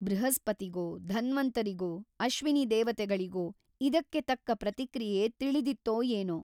ಬೃಹಸ್ಪತಿಗೋ ಧನ್ವಂತರಿಗೋ ಅಶ್ವಿನಿ ದೇವತೆಗಳಿಗೋ ಇದಕ್ಕೆ ತಕ್ಕ ಪ್ರತಿಕ್ರಿಯೆ ತಿಳಿದಿತ್ತೋ ಏನೋ ?